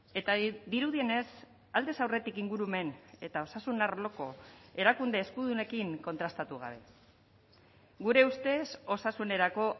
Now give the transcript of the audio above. eta dirudienez aldez aurretik ingurumen eta osasun arloko erakunde eskudunekin kontrastatu gabe gure ustez osasunerako